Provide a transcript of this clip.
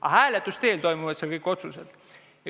Aga hääletuse teel tehakse seal kõik otsused.